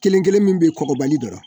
Kelen kelen min be yen kɔkɔbali dɔrɔn